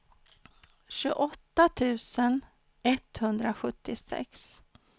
tjugoåtta tusen etthundrasjuttiosex